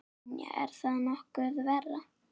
Brynja: Er það nokkuð verra?